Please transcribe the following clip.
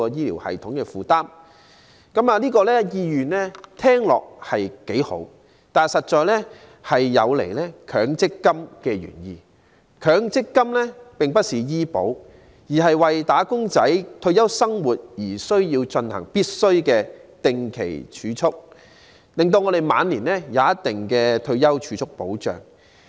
聽起來，其用意是好的，但實在有違強積金的原意，因為強積金並不是醫療保險，而是為"打工仔"的退休生活而進行的強制定期儲蓄，令他們晚年有一定的退休儲蓄保障。